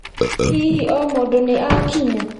Hihi o mũndũ nĩ akinya?